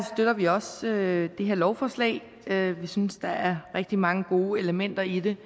støtter vi også det her lovforslag vi synes der er rigtig mange gode elementer i det